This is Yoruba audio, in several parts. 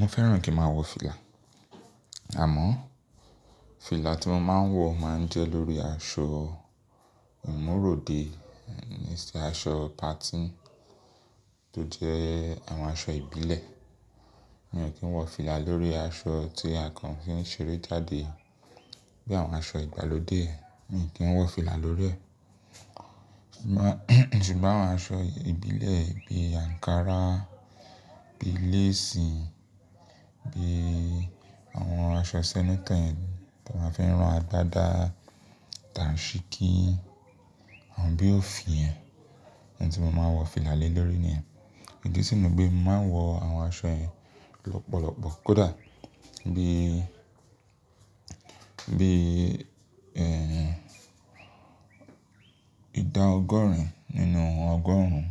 Mo fẹ́ràn kí n máa wọ fìlà, àmọ́ fìlà tí mo máa ń wọ máa ń jẹ́ lórí aṣọ ìmúróde, níṣe aṣọ patí tó jẹ́ àwọn aṣọ ìbílẹ̀. Mi ò kí ń wọ fìlà lórí aṣọ tí àkàn fi ń ṣeré jáde, bí i àwọn aṣọ ìgbàlódé, mi ò kí ń wọ fìlà lórí rẹ̀. Ṣùgbọ́n àwọn aṣọ ìbílẹ̀ bí i ankara, bí i léèsì, bí i àwọn aṣọ senator tí wọ́n fi ń rán a gba dáa, dansikí, awọ́n bí òfin ẹ, ni òun tí mo máa wọ fìlà lélórí ni. Ìdí sì ni pé mo máa ń wọ àwọn aṣọ yẹn lọ́pọ̀lọpọ̀. Kódà bí, bí, ẹ́, ìdá ọgọ́rùn-ún nínú ọgọ́rùn-ún,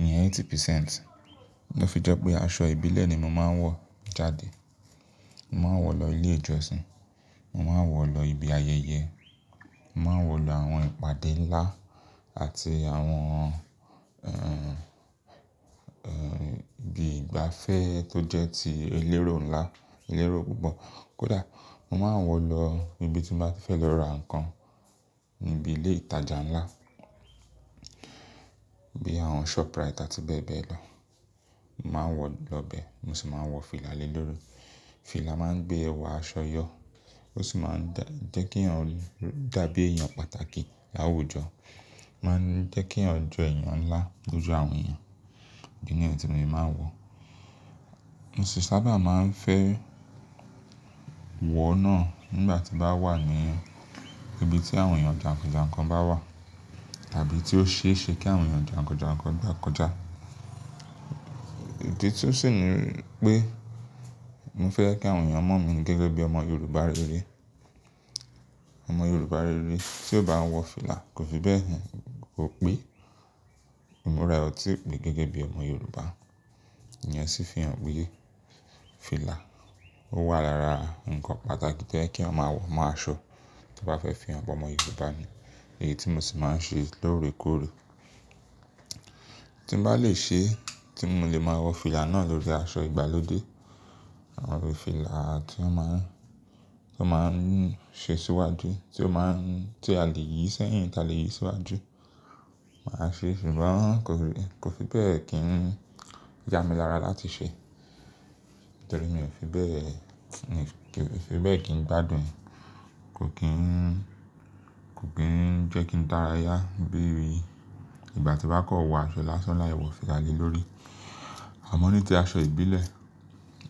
ìyẹn eighty percent, ló fi jẹ́ pé aṣọ ìbílẹ̀ ni mo máa ń wọ jáde. Mo máa ń wọ lọ ilé ìjọsìn, mo máa ń wọ lọ ibi ayẹyẹ, mo máa ń wọ lọ àwọn ìpàdé ńlá àti àwọn, ẹ́, ẹ́, ibi ìgbafẹ́ tó jẹ́ ti elérò ńlá, elérò púpọ̀. Kódà mo máa ń wọ lọ ibi tí mo bá fẹ́ lọ ra nǹkan níbi ilé ìtajà ńlá bí i àwọn shoprite àti bẹ́ẹ̀ bẹ́ẹ̀ lọ. Mo máa ń wọ lọ bẹ́ẹ̀, mo sì máa ń wọ fìlà lélórí. Fìlà máa ń gbé ẹwà aṣọ yọ, ó sì máa ń dá, jẹ́ kí ẹeyan dàbí èèyàn pàtàkì láwùjọ. Ma ń jẹ́ kí ẹeyan jọ èèyàn ńlá lójo àwọn èèyàn. Ìdí nìyẹn tí mo ṣe máa ń wọ. Mo sì sábà máa ń fẹ́ wọ ọ́n náà nígbà tí n bá wà ní ibi tí àwọn èèyàn jàǹkànjànkan bá wà àbí tí ó ṣeéṣe kí àwọn èèyàn jàǹkànjànkan gbà kọjá. Ìdí tí ó sì ni pé mo fẹ́ kí àwọn èèyàn mọ̀ mí gẹ́gẹ́ bí ọmọ Yorùbá rere. Ọmọ Yorùbá rere tí ò bá wọ fìlà kò fi bẹ́ẹ̀ hàn, kò pé ìmúra e ọ̀tí pé gẹ́gẹ́ bí ọmọ Yorùbá. Ìyẹn sì fi hàn wí pé fìlà ó wà lára nǹkan pàtàkì tó oye kí a máa wọ mọ́ aṣọ tí a bá fẹ́ fi hàn pé ọmọ Yorùbá ni. Èyí tí mo sì máa ń ṣe lóòrèkóòrè. Tí mo bá lè ṣe, tí mo lè máa wọ fìlà náà lórí aṣọ ìgbàlódé, àwọn irúu fìlà tí a máa ń, tí a máa ń ṣe síwájú, tí ó máa ń, tí a lè yí sẹ́yìn, tí a lè yí síwájú, màá ṣe é. Ṣùgbọ́n kò fi, kò fi bẹ́ẹ̀ kí n ya mi lára láti ṣẹ. Nítorí mi ò fi bẹ́ẹ̀, mi ò fi bẹ́ẹ̀ kí n gbádùn e, kò kí n, kò kí n jẹ́ kí n dára yá bí i ìgbà tí bá kọ wọ aṣọ lásán láì wọ fìlà lélórí. Àmọ́ ní ti aṣọ ìbílẹ̀,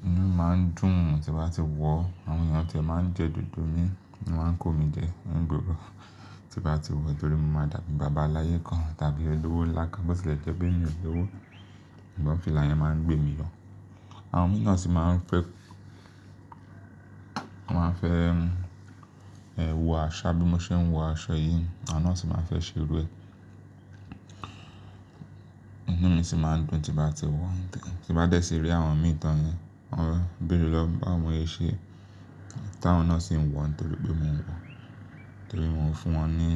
inú máa ń dùn tí mo bá ti wọ̀. Àwọn èèyàn a tí ẹ máa ń jẹ dùndún mi, wọn máa ń kó mi jẹ, ní gbogbo ìgbàtí mo bá ti wọ̀ nítorí mo máa dàbí bàbá aláyé kan àbí olówó ńlá ká bọ́ sì lè jẹ́ pé mi ò ni ẹowo. Ṣùgbọ́n fìlà yẹn máa ń gbé mi yọ. Àwọn mìíràn sì máa ń fẹ́, wọ́n máa ń fẹ́ ẹ́, wọ aṣọ bí mo ṣe ń wọ aṣọ yìí, àwọn náà sì máa fẹ́ ṣe irú ẹ. Inú mi sì máa ń dùn tí mo bá ti wọ̀. Tí mo bá dẹ̀ síí rí àwọn mìíràn yẹn, wọ́n ta ń bèèrè lọ́wọ́ mi báwo ni mo see ṣe, táwọn náà sì ń wọ̀n nítorí pé mò ń wọ̀. Nítorí mo o fún wọn ní,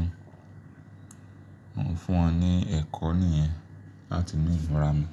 mo kò fún wọn ní ẹ̀kọ́ nìyẹn láti mú ìmúra mi.